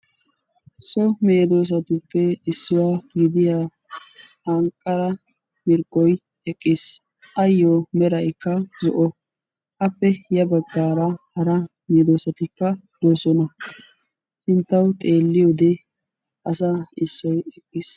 So meedosatuppe issuwaa gidiyaa anqara mirggoy eqqiis. ayoo meraykka zo'o appe ya baggaara hara meedosatikka de'oosona. sinttawu xeelliyoo wode asaa issoy eqqis.